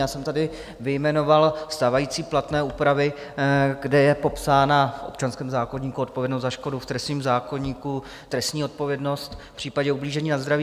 Já jsem tady vyjmenoval stávající platné úpravy, kde je popsána v občanském zákoníku odpovědnost za škodu, v trestním zákoníku trestní odpovědnost v případě ublížení na zdraví.